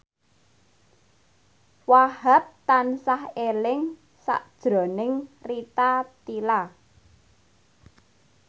Wahhab tansah eling sakjroning Rita Tila